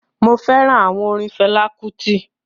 mo fẹràn àwọn orin Fela Kuti.